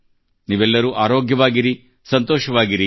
ನೀವೆಲ್ಲರೂ ಆರೋಗ್ಯವಾಗಿರಿ ಮತ್ತು ಸಂತೋಷವಾಗಿ ಇರಿ